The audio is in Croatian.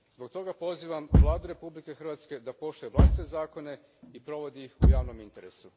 Zbog toga pozivam Vladu Republike Hrvatske da poštuje vlastite zakone i provodi ih u javnom interesu.